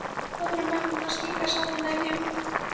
Pabbarnir og mömmurnar að stinga saman nefjum.